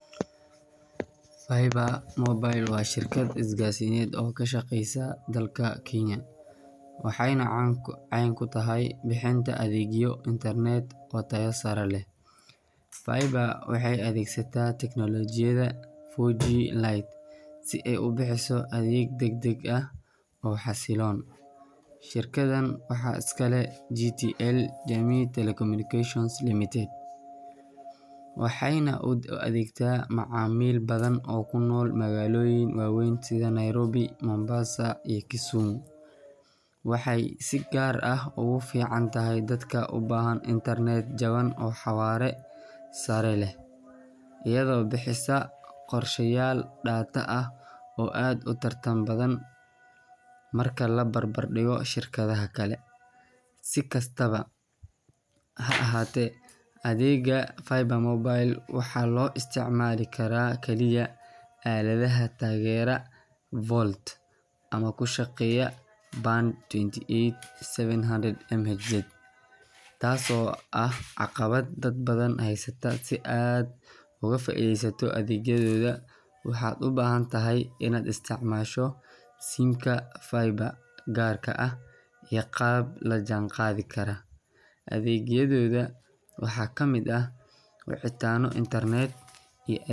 Faiba Mobile waa shirkad isgaarsiineed oo ka shaqeysa dalka Kenya, waxayna caan ku tahay bixinta adeegyo internet oo tayo sare leh. Faiba waxay adeegsataa tiknoolajiyadda 4G LTE si ay u bixiso adeeg degdeg ah oo xasilloon. Shirkaddan waxaa iska leh JTL Jamii Telecommunications Ltd, waxayna u adeegtaa macaamiil badan oo ku nool magaalooyin waaweyn sida Nairobi, Mombasa, iyo Kisumu. Waxa ay si gaar ah ugu fiican tahay dadka u baahan internet jaban oo xawaare sare leh, iyadoo bixisa qorshayaal data ah oo aad u tartan badan marka la barbar dhigo shirkadaha kale. Si kastaba ha ahaatee, adeegga Faiba Mobile waxaa loo isticmaali karaa kaliya aaladaha taageera VoLTE ama ku shaqeeya Band twenty eight seven hundred MHz, taasoo ah caqabad dad badan haysata. Si aad uga faa’iidaysato adeegyadooda, waxaad u baahan tahay inaad isticmaasho sim-ka Faiba gaarka ah iyo qalab la jaan qaadi kara. Adeegyadooda waxaa ka mid ah wicitaano, internet.